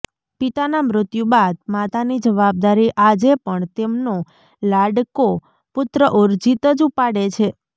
પિતાના મૃત્યુ બાદ માતાની જવાબદારી આજેપણ તેમનો લાડકો પુત્ર ઉર્જિત જ ઉપાડે છે